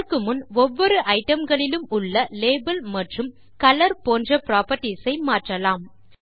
அதற்கு முன் ஒவ்வொரு ஐட்டம் களிலும் உள்ள லேபல் மற்றும் கலர் போன்ற புராப்பர்ட்டீஸ் ஐ மாற்றலாம்